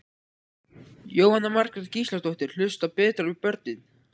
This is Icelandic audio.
Jóhanna Margrét Gísladóttir: Hlusta betur á börnin?